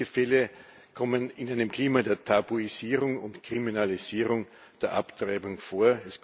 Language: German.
Solche Fälle kommen in einem Klima der Tabuisierung und Kriminalisierung der Abtreibung vor.